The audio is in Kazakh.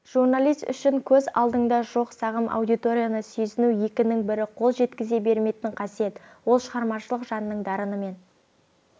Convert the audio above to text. журналист үшін көз алдыңда жоқ сағым аудиторияны сезіну екінің бірі қол жеткізе бермейтін қасиет ол шығармашылық жанның дарынымен